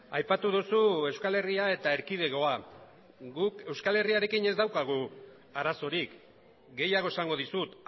aipatu duzu euskal herria eta erkidegoa guk euskal herriarekin ez daukagu arazorik gehiago esango dizut